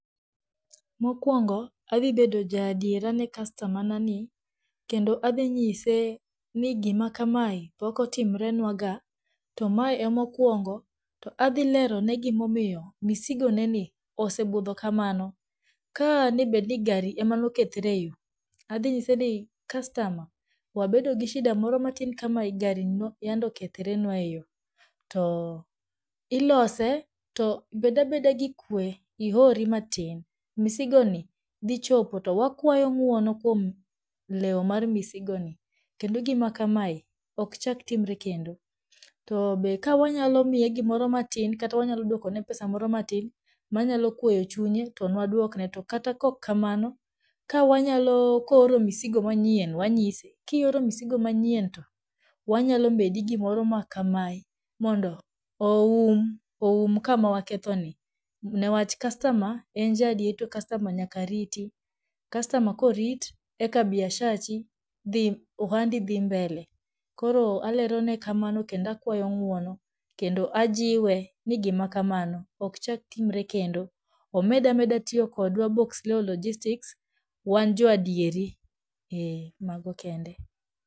Mokwongo, adhibedo ja adiera ne customer nani, kendo adhinyise ni gimakamae pokotimrenwaga, to mae emokwongo to adhilerone gimomiyo misigoneni osebudho kamano, ka debedni gari emanokethre eyoo, adhinyise ni "Customer, wabedo gi shida moro matin kamae gari ema yande okethrenwa e yoo to ilose to bedabeda gi kwe ihori matin, misigoni dhichopo to wakwayo ng'uono kwom leo mar misigoni, kendo gimakamae okchak timre kendo", To be ka wanyalo miye gimoro matin kata wanyalo dwokone pesa moro matin manyalo kweyo chunye to nwadwokne, to kata kokkamano ka wanyalo, kooro miosigo manyien wanyise "Kioro misigo manyien to wanyalomedi gimoro ma kamae mondo oum, oum akama wakethoni", Newach customer en jaadier to customer nyaka riti customer korit eka biashachi dhi ohandi dhii mbele koro alerone kamano kendo akwayo ng'uono, kendo ajiwe ni gimakamano okchaktimre kendo, omedameda tiyo kodwa Boxleo logistics, wan jo adieri, ee mago kende.